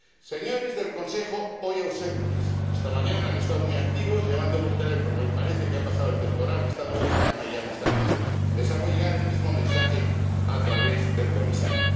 Señores del Consejo, hoy ausentes —esta mañana han estado muy activos, llamando por teléfono, y parece que ha pasado el temporal y estamos en calma y ya no están aquí—, les hago llegar el mismo mensaje a través del Comisario.